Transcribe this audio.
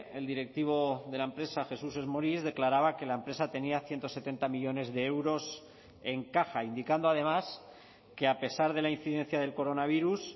el directivo de la empresa jesús esmoris declaraba que la empresa tenía ciento setenta millónes de euros en caja indicando además que a pesar de la incidencia del coronavirus